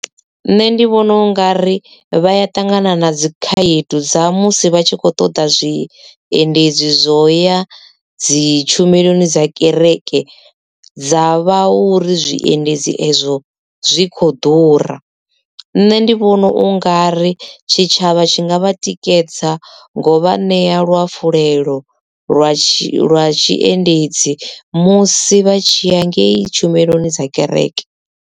Nṋe ndi vhona u nga ri vha ya ṱangana na dzikhaedu dza musi vha tshi kho ṱoḓa zwi endedzi zwo ya dzi tshumeloni dza kereke dza vha ho ri zwiendedzi ezwo zwikho ḓura. Nṋe ndi vhona u nga ri tshitshavha tshi nga vha tikedza ngo vha ṋea luhafhulelo lwa tshi lwa tshiendedzi musi vha tshi ya ngei tshumeloni dza kereke.